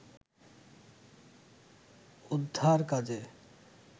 উদ্ধার কাজে